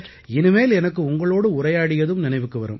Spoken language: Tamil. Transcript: இனிமேல் எனக்கு உங்களோடு உரையாடியதும் நினைவுக்கு வரும்